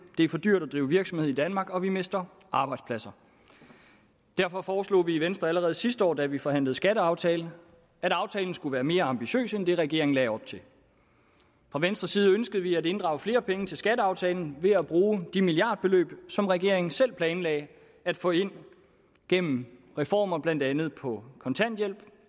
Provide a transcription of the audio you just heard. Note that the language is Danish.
det er for dyrt at drive virksomhed i danmark og vi mister arbejdspladser derfor foreslog vi i venstre allerede sidste år da vi forhandlede en skatteaftale at aftalen skulle være mere ambitiøs end det regeringen lagde op til fra venstres side ønskede vi at inddrage flere penge til skatteaftalen ved at bruge de milliardbeløb som regeringen selv planlagde at få ind gennem reformer blandt andet på kontanthjælp